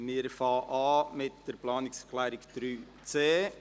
Wir beginnen mit der Planungserklärung 3.c.